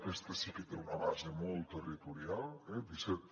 aquesta sí que té una base molt territorial eh disset